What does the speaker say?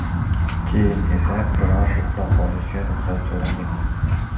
Keyin esa biroz uxlab olishga ruxsat so‘ragan.